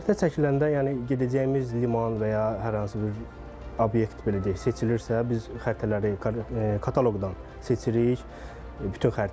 Xəritə çəkiləndə, yəni gedəcəyimiz liman və ya hər hansı bir obyekt, belə deyək, seçilirsə, biz xəritələri kataloqdan seçirik bütün xəritələri.